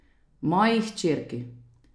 Moji hčerki.